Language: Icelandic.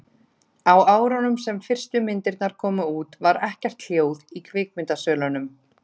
á árunum sem fyrstu myndirnar komu út var ekkert hljóð í kvikmyndasölunum